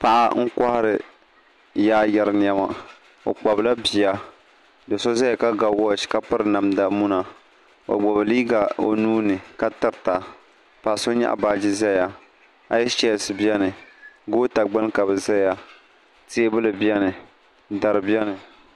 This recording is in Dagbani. paɣ' n kuhiri yayɛri nɛma o kpabila bia do so ʒɛya ka wachi ka pɛri namida Mona o gbabi liga o nuuni ka tɛrita paɣ' so gba nyɛgi baaji ʒɛya ayichisi bɛni gota gbani ka be zaya tɛbuli bɛni dari bɛni